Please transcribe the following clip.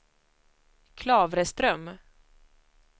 Klavreström